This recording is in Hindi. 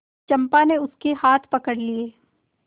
चंपा ने उसके हाथ पकड़ लिए